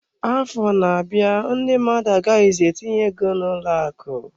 Afọ na-abịa, ndị mmadụ agaghịzi etinye ego n'ụlọ akụ.